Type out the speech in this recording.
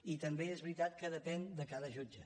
i també és veritat que depèn de cada jutge